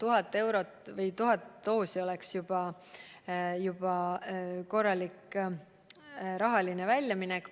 Isegi vaid 1000 doosi oleks sel juhul korralik väljaminek.